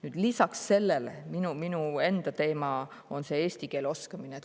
Nüüd, lisaks sellele minu enda teema on eesti keele oskamine.